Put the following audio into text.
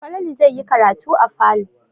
Falalu zai yi karatu a falo.